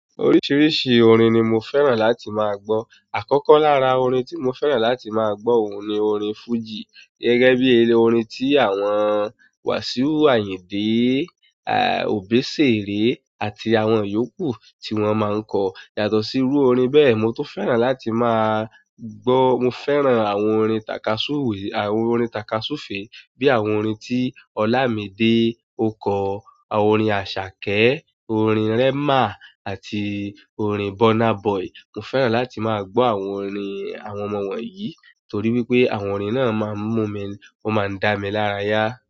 Oríṣiiríṣii orin ni mo fẹ́ràn láti máa gbọ́. Àkọ́kọ́ lára orin tí mo fẹ́ràn láti máa gbọ́ òun ni orin fújì gẹ́gẹ́ bí eré--orin tí àwọn Wasiu Ayinde, Obesere àti àwọn yòókù tí wọ́n máa ń kọ. Yàtọ̀ sí irú orin bẹ́ẹ̀, mo tun fẹ́ràn láti máa gbọ́, mo fẹ́ràn àwọn orin takasuwe, àwọn orin takasufe bí i àwọn orin tí Ọlámídé ọ kọ, àwọn orin Àṣàkẹ́, orin Rema àti orin Burna Boy. Mo fẹ́ràn láti máa gbọ́ àwọn orin àwọn ọmọ wọ̀nyí torí wípé àwọn orin náà máa ń mú mi, wọ́n máa ń dá mi lárayá.